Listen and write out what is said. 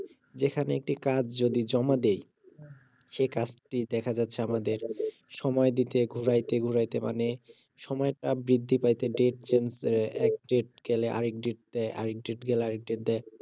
যেখানে একটি কাজ যদি জমা দেই সেই কাজটি দেখা যাচ্ছে আমাদের সময় দিতে ঘুরাইতে ঘুরাইতে মানে সময়টা বৃদ্ধি পাইতে ডেট চেঞ্জ হয়ে এক ডেট গেলে আরেক ডেট দেয় আরেক ডেট গেলে আরেক ডেট দেয়